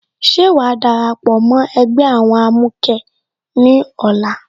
Ṣé wàá darapọ̀ mó ẹgbẹ́ àwọn amukẹ ní ọ̀la?